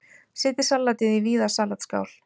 Setjið salatið í víða salatskál.